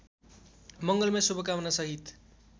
मंगलमय शुभकामना सहित